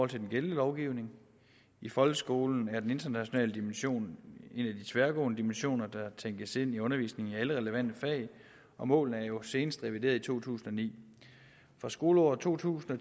til den gældende lovgivning i folkeskolen er den internationale dimension en af de tværgående dimensioner der tænkes ind i undervisningen i alle relevante fag og målene er jo senest revideret i to tusind og ni fra skoleåret to tusind og